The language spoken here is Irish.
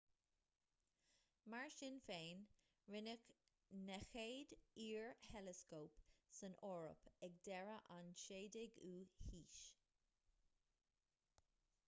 mar sin féin rinneadh na chéad fhíor-theileascóip san eoraip ag deireadh an 16ú haois